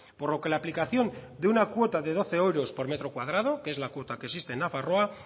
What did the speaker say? por lo que la aplicación de una cuota de doce euros por metro cuadrado que es la cuota que existe en nafarroa